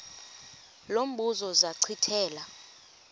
lo mbuzo zachithela